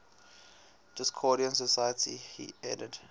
discordian society headed